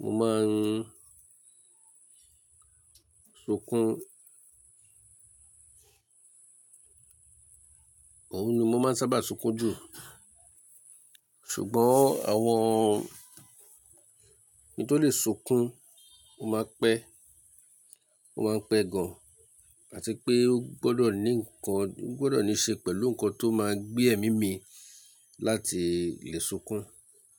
mo máa ń sunkún. Òun ni mo máa ń sábà sunkún jù. Ṣùgbọ́n àwọn–ki ń tó lè sunkún ó máa ń pẹ́, ó máa ń pẹ́ gan, àti pé ó gbọ́dọ̀ ní nǹkan, ó gbọ́dọ̀ ní i ṣe pẹ̀lú nǹkan tó máa gbé ẹ̀mí mi láti lè sunkún.